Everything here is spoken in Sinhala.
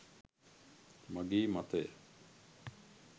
මගේ මතය.